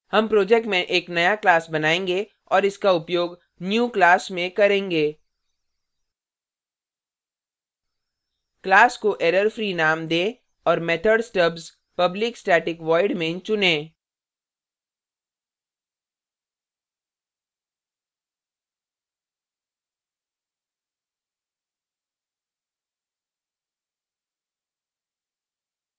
हम project में एक नया class बनायेंगे और इसका उपयोग new class में करेंगे class को error free name we और method stubs public static void main चुनें